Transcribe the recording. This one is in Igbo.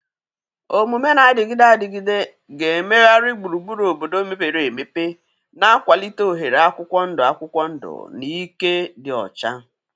Omume na-adịgide adịgide ga-emegharị gburugburu obodo mepere emepe, na-akwalite oghere akwụkwọ ndụ akwụkwọ ndụ na ike dị ọcha.